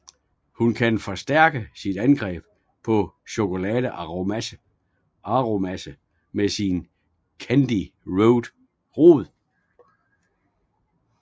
Hun kan forstærke sit angreb som Chocolate Aromase med sin Candy Rod